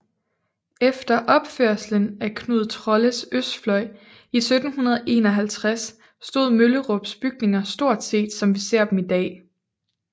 Efter opførelsen af Knud Trolles østfløj i 1751 stod Møllerups bygninger stort set som vi ser dem i dag